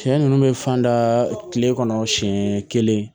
Sɛ ninnu bɛ fan da kile kɔnɔ siɲɛ kelen